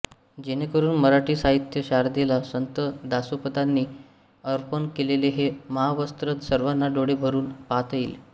जेणेकरून मराठी साहित्य शारदेला संत दासोपंतांनी अर्पण केलेले हे महावस्त्र सर्वाना डोळे भरून पाहता येईल